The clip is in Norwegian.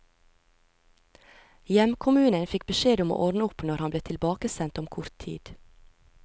Hjemkommunen fikk beskjed om å ordne opp når han ble tilbakesendt om kort tid.